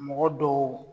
Mɔgɔ dɔw